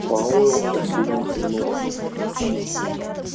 пауэлл рассеянно кивнул